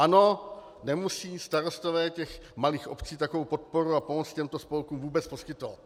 Ano, nemusí starostové těch malých obcí takovou podporu a pomoc těmto spolkům vůbec poskytovat.